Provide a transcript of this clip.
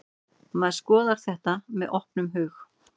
Maður skoðar þetta með opnum hug.